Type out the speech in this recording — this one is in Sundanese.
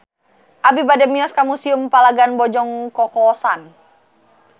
Abi bade mios ka Museum Palagan Bojong Kokosan